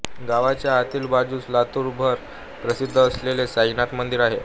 गावाच्या आतील बाजूस लातूर भर प्रसिद्ध असलेले साईनाथ मंदिर आहे